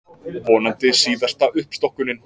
Vonandi síðasta uppstokkunin